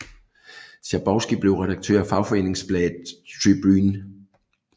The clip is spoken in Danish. Schabowski blev redaktør af fagforeningsbladet Tribüne